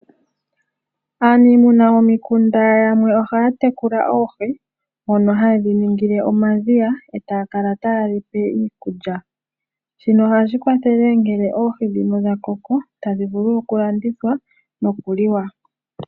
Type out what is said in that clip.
Aanimuna momikunda yamwe ohaa tekula oohi mono haye dhi ningile omadhiya taakala taye dhipe iikulya, shino ohashi kwathele ngele oohi dhino dhakoko tandhi vulu okulandithwa nokuliwa.